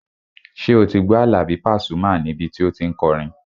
Ṣé o ti gbọ́ Àlàbí Pasuma níbi tí o tí n kọrin?